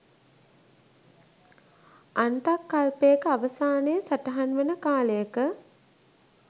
අන්තක් කල්පයක අවසානය සටහන් වන කාලයක